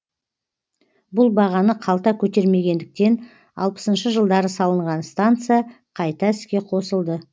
бұл бағаны қалта көтермегендіктен алпысыншы жылдары салынған станция қайта іске қосылды